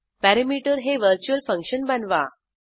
perimeter हे virtual function बनवा